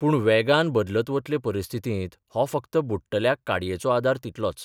पूण वेगान बदलत वतले परिस्थितींत हो फक्त बुङटल्याक काडयेचो आदार तितलोच !